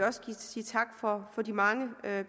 også sige tak for de mange